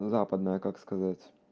западная как сказать